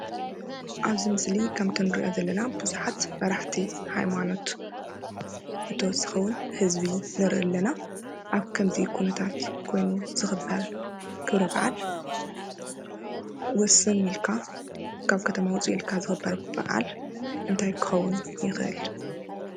ኣብዚ ምስሊ ከምቲንሪኦ ዘለና ብዙሓት መራሕቲ ሃይማኖት ብተወሳኺ ውን ህዝቢ ንሪኢ ኣለና፡፡ ኣብ ከምዚ ኩነታት ኮይኑ ዝኽበር ክብረ በዓል ውስን ኢልካ ካብ ከተማ ውፅእ ኢልካ ዝኽበር በዓል እንታይ ክኸውን ይኽእል?